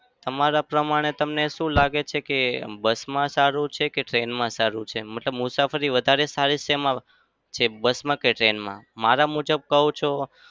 તમારા પ્રમાણે તમને શું લાગે છે કે bus માં સારું છે કે train મા સારું છે? મતલબ મુસાફરી વધારે શેમાં bus માં કે train માં? મારા મુજબ કહું છું.